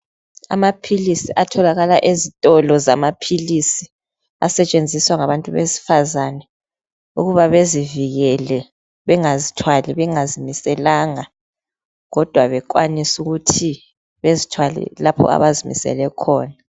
Amaphilisi atholakala ezitolo zamaphilisi asetshenziswa ngabantu besifazane ukuba bezivikele bengazithwali bengazimiselanga kodwa bekwanise ukuthi bezithwale lapho abazimisele khona.